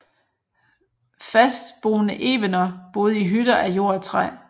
Fastboende evener boede i hytter af jord og træ